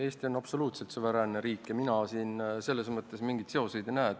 Eesti on absoluutselt suveräänne riik ja mina siin selles mõttes mingeid seoseid ei näe.